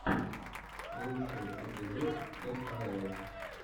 лучший эпизод кхл